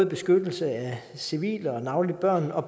beskyttelse af civile og navnlig børn og